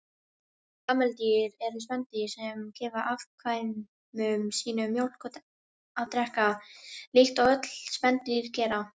Kameldýr eru spendýr sem gefur afkvæmum sínum mjólk að drekka, líkt og öll spendýr gera.